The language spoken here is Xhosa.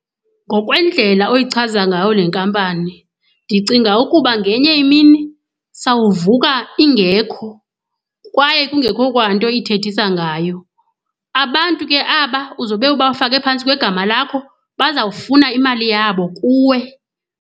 Ngokwendlela oyichaza ngayo le nkampani, ndicinga ukuba ngenye imini sawuvuka ingekho kwaye kungekho kwanto ithethisa ngayo. Abantu ke aba uzobe ubafake phantsi kwegama lakho bazawufuna imali yabo kuwe.